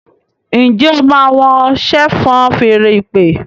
njé o má wón ṣe fọ́n Fèèrè ìpè?